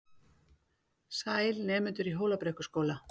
Sæl, nemendur í Hólabrekkuskóla.